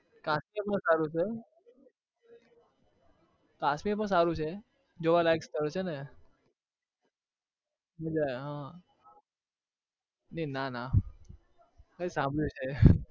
કાશ્મીરમાં સારું છે. કાશ્મીરમાં સારું છે જોવા લાયક સ્થળ છે ને હ એ નાના. મેં સાંભળું છે.